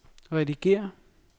redigér